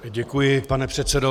Děkuji, pane předsedo.